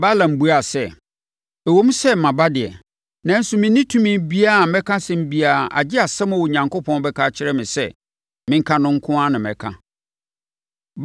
Balaam buaa sɛ, “Ɛwom sɛ maba deɛ, nanso menni tumi biara a mɛka asɛm biara agye asɛm a Onyankopɔn bɛka akyerɛ me sɛ menka no nko na mɛka.”